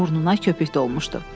Burnuna köpük dolmuşdu.